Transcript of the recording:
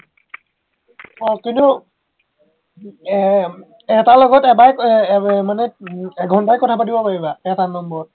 অ কিন্তু আহ এটাৰ লগত এবাৰে কৰি আহ আহ মানে এঘন্টাই কথা পাতিব পাৰিবা এটা নম্বৰত